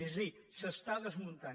és a dir s’està desmuntant